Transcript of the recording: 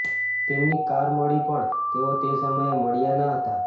તેમની કાર મળી પણ તેઓ તે સમયે મળ્યા ન હતા